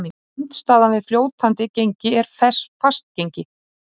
Andstaðan við fljótandi gengi er fast gengi.